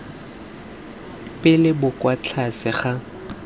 pele bo kwa tlase ga